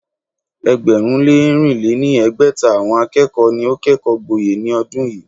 ẹgbẹ̀rún lé ẹ́rìn lé ní ẹgbẹ́ta àwọn akẹ́kọ̀ọ́ ni ó kẹ́kọ̀ọ́ gboyè ní ọdún yìí.